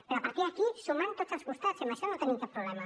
però a partir d’aquí sumar per tots els costats i en això no tenim cap problema